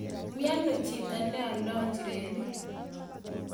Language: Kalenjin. Miono chito neoldo njirenik